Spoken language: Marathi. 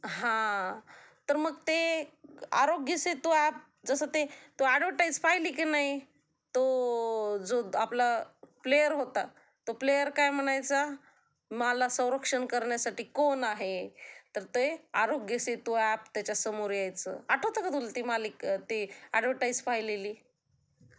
हा तर मग ते, आता ते आरोग्यसेतू ऍप, जस ते तू ऍडव्हरटाइज पाहिली की नाही, तो जो आपला, प्लेअर होता, तो प्लेअर काय म्हणायचा मला संरक्षण करण्यासाठी कोण आहे, तर ते आरोग्यसेतू तर ते ऍप त्याच्यासमोर यायचं आठवते का तुला ती मालि.. ऍ़़डव्हर्टाइज पाहिलेली